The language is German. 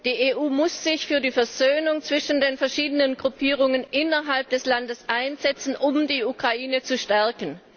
Die EU muss sich für die Versöhnung zwischen den verschiedenen Gruppierungen innerhalb des Landes einsetzen, um die Ukraine zu stärken.